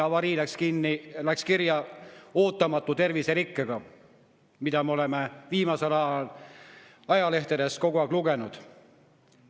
Avarii läks kirja ootamatu terviserikke põhjustatuna, millest me oleme viimasel ajal ajalehtedest kogu aeg lugenud.